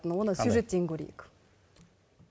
оны сюжеттен көрейік